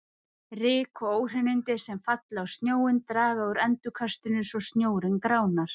Ryk og óhreinindi sem falla á snjóinn draga úr endurkastinu svo snjórinn gránar.